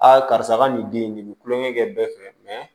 karisa ka nin den in nin bɛ kulonkɛ kɛ bɛɛ fɛ mɛ